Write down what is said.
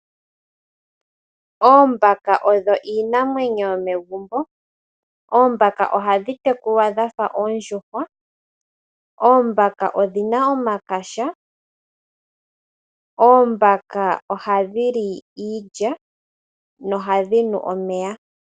Oombaka odho iinamwenyo yomegumbo, oombaka ohadhi tekulwa dhafa oondjuhwa. Oombaka odhina omakaha. Oombaka ohadhi li iilya no hadhi nu omeya.